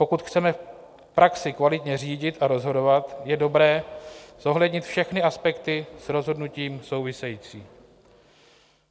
Pokud chceme v praxi kvalitně řídit a rozhodovat, je dobré zohlednit všechny aspekty s rozhodnutím související.